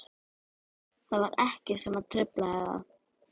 Það var ekkert sem truflaði þá.